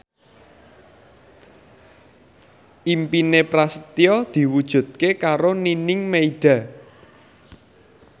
impine Prasetyo diwujudke karo Nining Meida